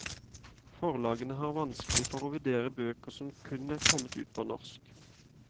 Forlagene har vanskelig for å vurdere bøker som kun er kommet ut på norsk.